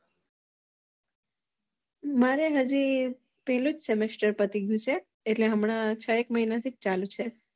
મારે હજી પેલું Semester પતિ ગયું છે હજી છ એક મહીંના થી ચાલુ છે